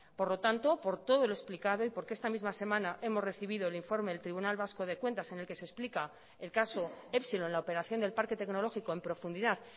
por lo tanto por todo lo explicado y porque esta misma semana hemos recibido el informe del tribunal vasco de cuentas en el que se explica el caso epsilon la operación del parque tecnológico en profundidad